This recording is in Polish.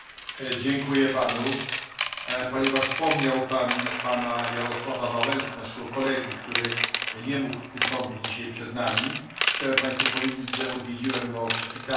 Ponieważ wspomniał Pan o Jarosławie Wałęsie, naszym koledze, który nie mógł wystąpić dzisiaj przed nami, chciałem Państwu powiedzieć, że odwiedziłem go w szpitalu w ostatnią sobotę.